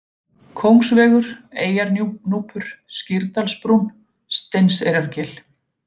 Kóngsvegur, Eyjarnúpur, Skýrdalsbrún, Steinseyrargil